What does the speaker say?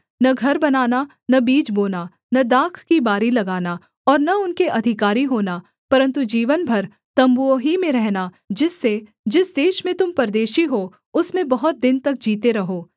न घर बनाना न बीज बोना न दाख की बारी लगाना और न उनके अधिकारी होना परन्तु जीवन भर तम्बुओं ही में रहना जिससे जिस देश में तुम परदेशी हो उसमें बहुत दिन तक जीते रहो